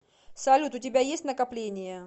салют у тебя есть накопления